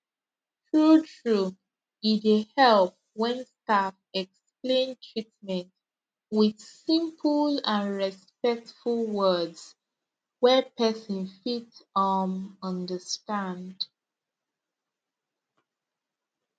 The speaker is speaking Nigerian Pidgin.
truetrue e dey help when staff explain treatment with simple and respectful words wey person fit um understand